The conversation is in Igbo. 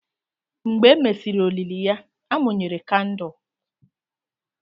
Mgbe e mesịrị olili ya, a mụnyere kandụl.